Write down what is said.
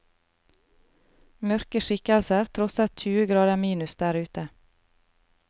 Mørke skikkelser trosset tjue grader minus der ute.